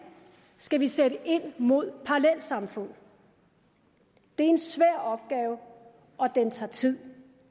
skal vi sætte ind mod parallelsamfund det er en svær opgave og den tager tid